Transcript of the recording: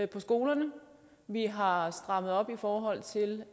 på skolerne vi har strammet op i forhold til